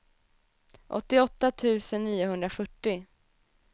åttioåtta tusen niohundrafyrtio